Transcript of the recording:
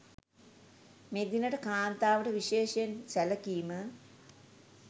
මෙදිනට කාන්තාවට විශේෂයෙන් සැළකීම